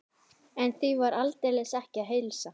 En því var aldeilis ekki að heilsa.